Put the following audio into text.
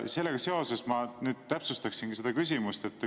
Ja ma täpsustaksin seda küsimust.